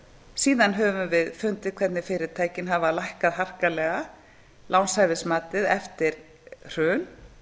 síðan höfum við fundið hvernig fyrirtækin hafa lækkað harkalega lánshæfismatið eftir hrun